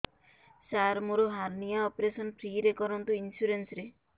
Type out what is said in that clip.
ସାର ମୋର hernia operation free ରେ କରନ୍ତୁ ଇନ୍ସୁରେନ୍ସ ରେ